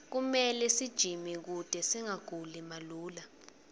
kumele sijime kute singaguli malula